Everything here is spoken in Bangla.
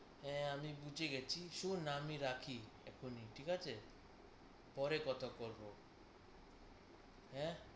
হ্যাঁ আমি বুঝে গেছি। শোন আমি রাখি এখনি, ঠিক আছে? পরে কথা বলব, হ্যাঁ?